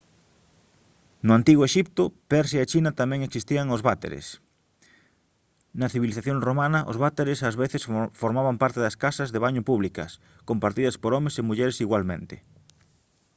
no antigo exipto persia e china tamén existían os váteres na civilización romana os váteres ás veces formaban parte das casas de baño públicas compartidas por homes e mulleres igualmente